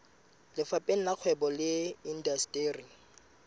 lefapheng la kgwebo le indasteri